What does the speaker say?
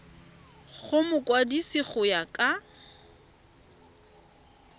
go mokwadise go ya ka